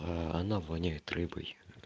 она воняет рыбой